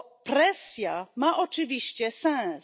Presja ma oczywiście sens.